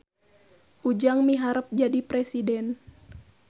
Ujang miharep jadi presiden